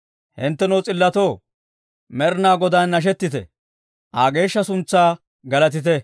Hinttenoo s'illotoo, Med'inaa Godaan nashettite; Aa geeshsha suntsaa galatite.